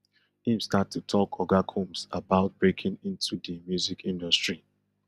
im start to talk oga combs about breaking into di music industry